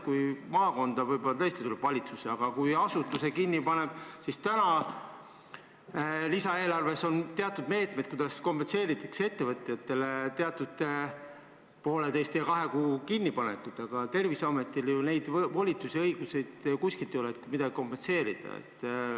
Kui maakonda võib-olla tõesti tuleb valitsus ja paneb asutuse kinni, siis täna on lisaeelarves teatud meetmed, mille abil ettevõtjatele teatud poolteise või kahe kuu kinnipanekut kompenseerida, aga Terviseametil ju neid volitusi ja õigusi ei ole, et midagi kompenseerida.